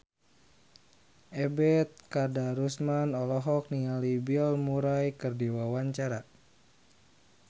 Ebet Kadarusman olohok ningali Bill Murray keur diwawancara